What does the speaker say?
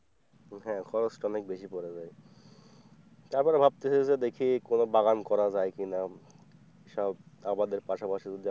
হ্যাঁ খরচ তো অনেক বেশি পড়ে যায় তারপরে ভাবতেছি যে দেখি কোন বাগান করা যায় কিনা সব আবাদের পাশাপাশি,